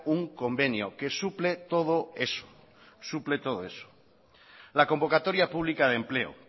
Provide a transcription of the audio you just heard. un convenio que suple todo eso suple todo eso la convocatoria pública de empleo